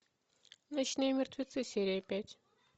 ночные мертвецы серия пять